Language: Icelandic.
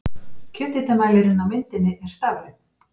Kjöthitamælirinn á myndinni er stafrænn.